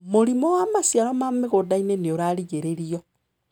Mũrimũ wa maciaro ma mĩgũndainĩ nĩ ũrarigĩrĩrio.